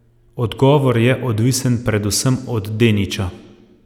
Odgovor je odvisen predvsem od Deniča.